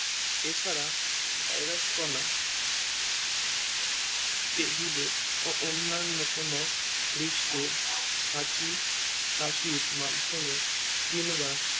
এছাড়া ভাইরাস কণা টেবিলে বা অন্যান্য কোনো পৃষ্ঠে হাঁচি কাশি মাধ্যমে কিংবা